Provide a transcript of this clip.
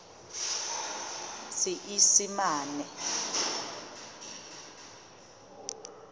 seesimane